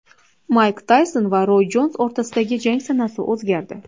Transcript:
Mayk Tayson va Roy Jons o‘rtasidagi jang sanasi o‘zgardi.